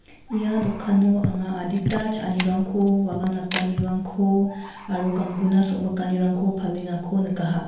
ia dokano anga adita cha·anirangko wagam natanirangko aro gangguna somikanirangko palengako nikaha.